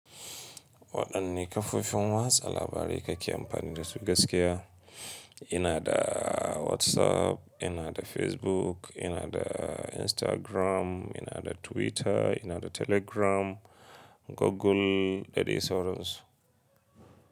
Waɗanne kafofin watsa labarai kake amfani da su gaskiya? Ina da WhatsApp, ina da Facebook, ina da Instagram, ina da Twitter, ina da Telegram, Google da dai sauransu.